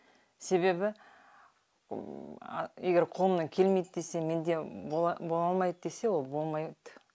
себебі егер қолымнан келмейді десе менде бола алмайды десе ол болмайт